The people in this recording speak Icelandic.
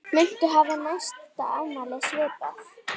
Muntu hafa næsta afmæli svipað?